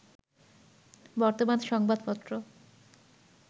বর্তমান সংবাদপত্র